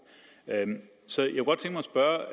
så